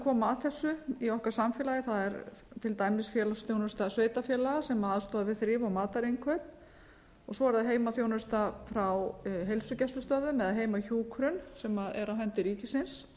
koma að þessu í okkar samfélagi það er til dæmis félagsþjónusta sveitarfélaga sem aðstoðar við þrif og matarinnkaup svo er það heimaþjónusta frá heilsugæslustöðvum eða heimahjúkrun sem er á hendi ríkisins